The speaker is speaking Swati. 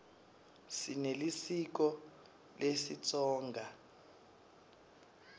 sinelisiko lesitsonga